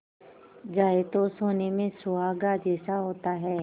जाए तो सोने में सुहागा जैसा होता है